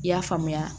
I y'a faamuya